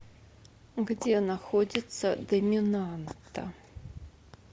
где находится доминанта